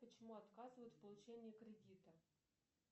почему отказывают в получении кредита